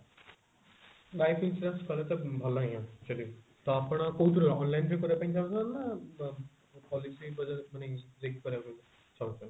life insurance କଲେ ଭଲ ହିଁ ହେବ actually ତ ଆପଣ କୋଉଥିରେ online ରେ କରିବାକୁ ଚାହୁଞ୍ଚନ୍ତି ନା ବ policy ଚାହୁଞ୍ଚନ୍ତି